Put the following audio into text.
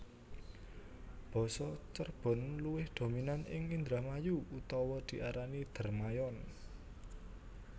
Basa Cerbon luwih dominan ing Indramayu utawa diarani Dermayon